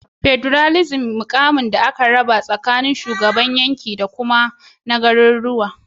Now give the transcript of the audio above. federalism mukamin da aka raba tsakanin shugabannin yanki dakuka na gariruwa